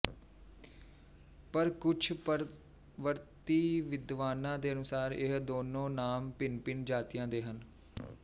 ਪਰ ਕੁੱਝ ਪਰਵਰਤੀ ਵਿਦਵਾਨਾਂ ਦੇ ਅਨੁਸਾਰ ਇਹ ਦੋਨੋਂ ਨਾਮ ਭਿੰਨਭਿੰਨ ਜਾਤੀਆਂ ਦੇ ਹਨ